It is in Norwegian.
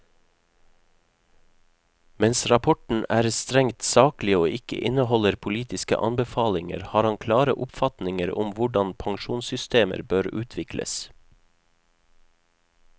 Mens rapporten er strengt saklig og ikke inneholder politiske anbefalinger, har han klare oppfatninger om hvordan pensjonssystemer bør utvikles.